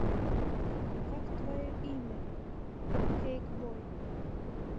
как твое имя кейкбой